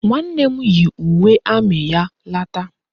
Nwanne m yi uwe amị ya lata